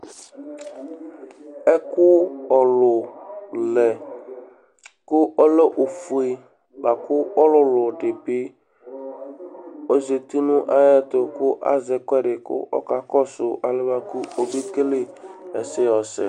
Ɛkʋ ɔlʋ lɛ kʋ ɔlɛ ofue bʋa kʋ ɔlʋlʋ dɩ bɩ ɔzati nʋ ayɛtʋ kʋ azɛ ɛkʋɛdɩ kʋ ɔkakɔsʋ alɛna yɛ bʋa kʋ ɔbekele ɛsɛ yɛ yɔsɛ